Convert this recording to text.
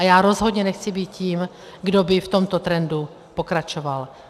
A já rozhodně nechci být tím, kdo by v tomto trendu pokračoval.